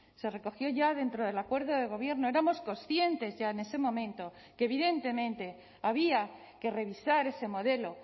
se recogió ya dentro del acuerdo de gobierno éramos conscientes ya en ese momento que evidentemente había que revisar ese modelo